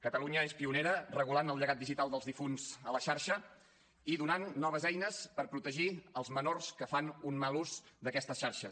catalunya és pionera regulant el llegat digital dels difunts a la xarxa i donant noves eines per protegir els menors que fan un mal ús d’aquestes xarxes